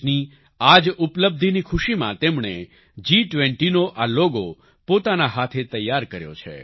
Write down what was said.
દેશની આ જ ઉપલબ્ધિની ખુશીમાં તેમણે જી20નો આ લોગો પોતાના હાથે તૈયાર કર્યો છે